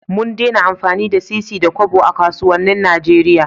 Mun dena amfani da sisi da Kobo a kasuwanin Nigeria